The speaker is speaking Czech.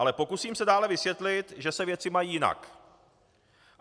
Ale pokusím se dále vysvětlit, že se věci mají jinak.